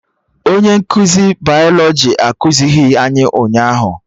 Onye nkụzi bayalọjị ekuzighi anyị ụnyaahụ